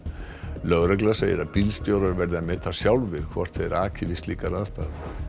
lögregla segir að bílstjórar verði að meta sjálfir hvort þeir aki við slíkar aðstæður